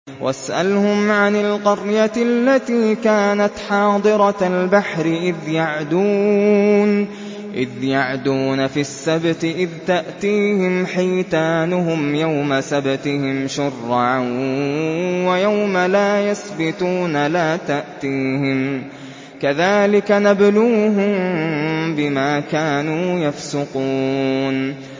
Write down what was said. وَاسْأَلْهُمْ عَنِ الْقَرْيَةِ الَّتِي كَانَتْ حَاضِرَةَ الْبَحْرِ إِذْ يَعْدُونَ فِي السَّبْتِ إِذْ تَأْتِيهِمْ حِيتَانُهُمْ يَوْمَ سَبْتِهِمْ شُرَّعًا وَيَوْمَ لَا يَسْبِتُونَ ۙ لَا تَأْتِيهِمْ ۚ كَذَٰلِكَ نَبْلُوهُم بِمَا كَانُوا يَفْسُقُونَ